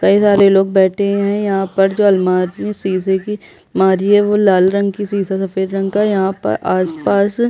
कई सारे लोग बैठे है यहाँ पर जो अलमारी है शीशे की अलमारी है वो लाल रंग की शीशा सफ़ेद रंग का यहाँ पर आस - पास --